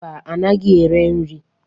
Mba, anaghị ere nri.